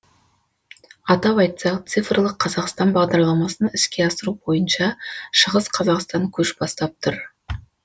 атап айтсақ цифрлық қазақстан бағдарламасын іске асыру бойынша шығыс қазақстан көш бастап тұр